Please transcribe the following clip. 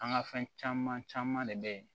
An ka fɛn caman caman de bɛ yen